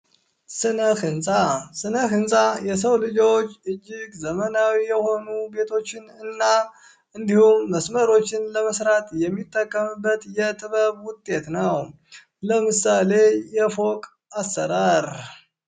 ስነ ህንፃ ስነ ህንፃ የሰው ልጆች እጅግ ዘመናዊ የሆኑ ቤቶችን እና እንዲሁም መስመሮችን ለመስራት የሚጠቀምበት የጥበብ ውጤት ነው ።ለምሳሌ የፎቅ አሰራር ።